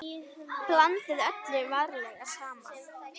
Blandið öllu varlega saman.